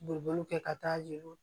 Boliboli kɛ ka taa jeliw